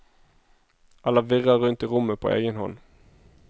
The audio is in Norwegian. Eller virrer rundt i rommet på egen hånd.